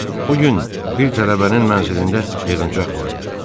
O gün bir tələbənin mənzilində yığıncaq var idi.